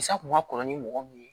Sa kun ma kɔrɔ ni mɔgɔ mun ye